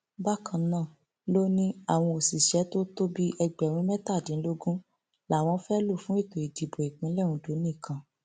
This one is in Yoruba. bákan náà ló ní àwọn òṣìṣẹ tó tó bíi ẹgbẹrún mẹtàdínlógún làwọn fẹẹ lò fún ètò ìdìbò ìpínlẹ ondo nìkan